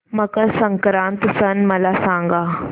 मकर संक्रांत सण मला सांगा